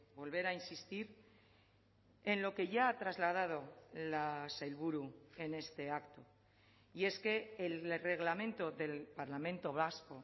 volver a insistir en lo que ya ha trasladado la sailburu en este acto y es que el reglamento del parlamento vasco